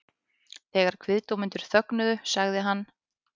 Þegar kviðdómendur þögnuðu sagði hann